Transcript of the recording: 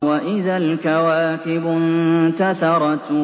وَإِذَا الْكَوَاكِبُ انتَثَرَتْ